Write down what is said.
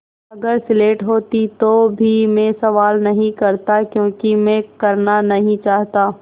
अगर स्लेट होती तो भी मैं सवाल नहीं करता क्योंकि मैं करना नहीं चाहता